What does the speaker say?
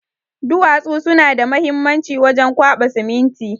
Duwatsu suna da muhimanci wajen kwaba siminti